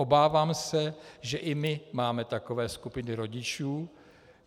Obávám se, že i my máme takové skupiny rodičů.